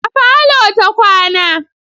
A parlour ta kwana.